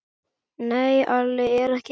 Nei, Alli er ekki heima.